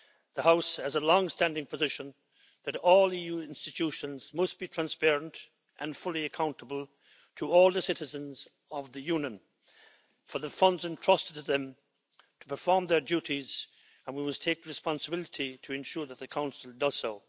The House has a long standing position that all EU institutions must be transparent and fully accountable to all the citizens of the Union for the funds entrusted to them to perform their duties, and we must take responsibility to ensure that the Council does so.